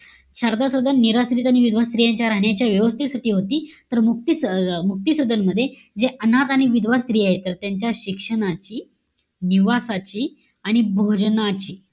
शारदा सदन निराश्रित आणि विधवा स्त्रियांच्या राहण्याच्या व्यवस्थेसाठी होती. तर, मुक्ती अं मुक्ती सदन मध्ये जे अनाथ आणि विधवा स्त्री आहे. तर त्यांच्या शिक्षणाची, निवासाची आणि भोजनाची,